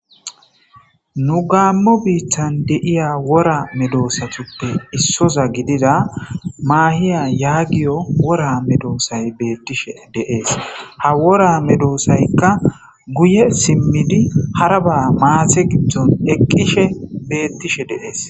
nu gaammo biittan de'iya wora medoosatuppe issoza gidida maahiya yaagiyo wora medoosay beettishe deees ha wora me doosaykka guye simmidi haraba maase giddon eqqishe beettishe deees